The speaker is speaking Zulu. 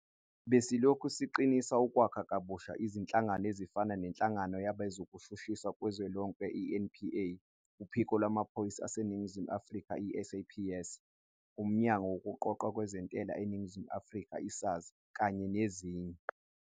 Besilokhu siqinisa ukwakha kabusha izinhlangano ezifana neNhlangano Yabezokushushiswa Kuzwelonke, i-NPA, uPhiko Lwamaphoyisa aseNingizimu Afrika, i-SAPS, uMnyango Wokuqoqwa kweNtela eNingizimu Afrika, i-SARS, kanye nezinye.